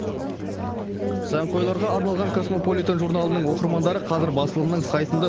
сәнқойларға арналған касмополитен журналының оқырмандары қазір басылымның сайтында